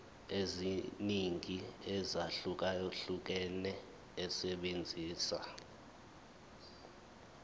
eziningi ezahlukahlukene esebenzisa